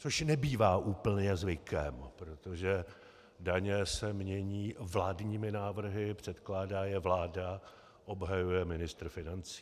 Což nebývá úplně zvykem, protože daně se mění vládními návrhy, předkládá je vláda, obhajuje ministr financí.